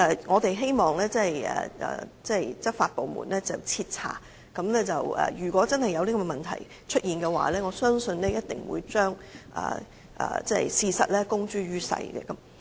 我們希望執法部門徹查，如果真的有這些問題，我相信他們一定會把事實公諸於世。